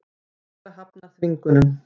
Lögregla hafnar þvingunum